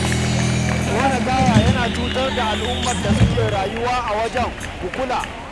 Ƙona taya yana cutar da al'ummar da suke rayuwa a wajen, ku kula